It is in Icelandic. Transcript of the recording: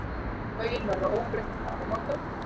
Lögin verða óbreytt til áramóta.